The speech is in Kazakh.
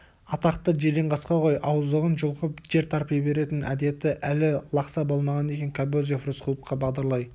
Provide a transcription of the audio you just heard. атақты жиренқасқа ғой ауыздығын жұлқып жер тарпи беретін әдеті әлі лақса болмаған екен кобозев рысқұловқа бағдарлай